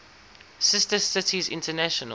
sister cities international